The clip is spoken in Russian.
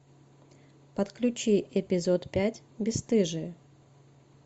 подключи эпизод пять бесстыжие